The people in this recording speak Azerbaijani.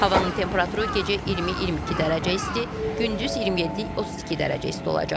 Havanın temperaturu gecə 20-22 dərəcə isti, gündüz 27-32 dərəcə isti olacaq.